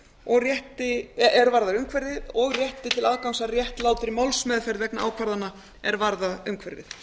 um ákvarðanatöku er varðar umhverfið og rétti til aðgangs að réttlátri málsmeðferð vegna ákvarðana er varða umhverfið